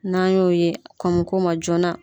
N'an y'o ye kɔn bɛ k'o ma joona.